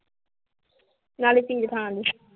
ਨਾਲੇ ਨੀਂ